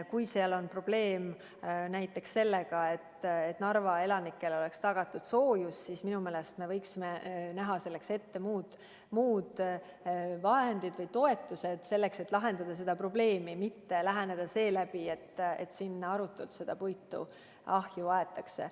Kui seal on probleem näiteks sellega, et Narva elanikele oleks tagatud soojus, siis minu meelest me võiksime selleks ette näha muud vahendid või toetused, et seda probleemi lahendada, mitte läheneda nii, et seal arutult puitu ahju aetakse.